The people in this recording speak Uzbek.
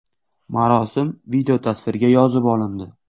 Marosim videotasvirga yozib olindi.